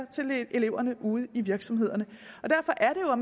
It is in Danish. til eleverne ude i virksomhederne derfor er